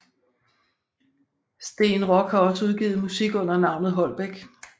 Steen Rock har også udgivet musik under navnet Holbek